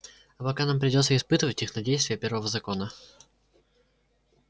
а пока нам придётся испытывать их на действие первого закона